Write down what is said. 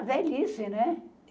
A velhice, né?